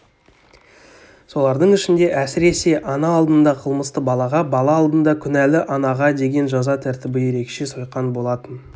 солардың ішінде әсіресе ана алдында қылмысты балаға бала алдында күнәлі анағадеген жаза тәртібі ерекше сойқан болатын